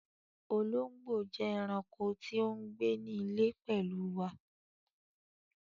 Òlòngbó jẹ́ ẹ̀raǹkò tí o ńgbẹ̀ ní ilẹ̀ pẹ̀lu wà